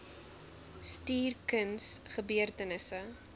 stuur kuns gebeurtenisse